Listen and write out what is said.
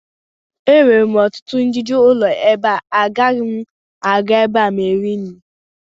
e nwere ọtụtụ ijiji ụlọ ebe a, agaghị m aga ebe ahụ iri nri